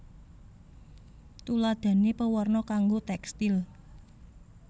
Tuladhané pewarna kanggo tékstil